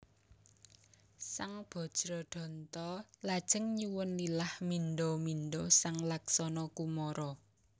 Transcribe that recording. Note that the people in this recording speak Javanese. Sang Bajradanta lajeng nyuwun lilah mindha mindha sang Laksana Kumara